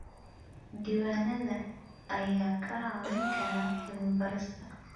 Diiwaanada ayaa kaa caawin kara cilmi-baarista.